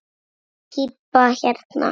Þessi pípa hérna.